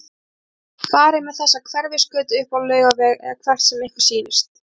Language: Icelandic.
Farið með þessa Hverfisgötu upp á Laugaveg- eða hvert sem ykkur sýnist.